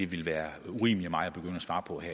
vil være